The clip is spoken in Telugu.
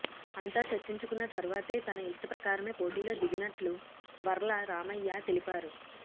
అంతా చర్చించుకున్న తర్వాతే తన ఇష్ట ప్రకారమే పోటీలో దిగినట్లు వర్ల రామయ్య తెలిపారు